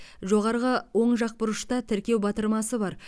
жоғарғы оң жақ бұрышта тіркеу батырмасы бар